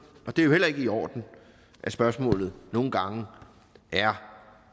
og det er jo heller ikke i orden at spørgsmålet nogle gange er